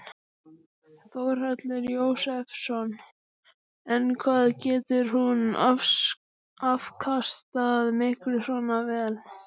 Þórhallur Jósefsson: En hvað getur hún afkastað miklu svona vél?